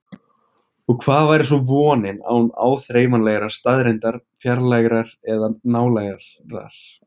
Og hvað væri svo vonin án áþreifanlegrar staðreyndar, fjarlægrar eða nálægrar?